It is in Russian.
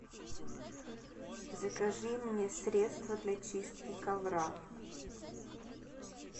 закажи мне средство для чистки ковра